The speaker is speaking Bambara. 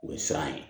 O ye siran ye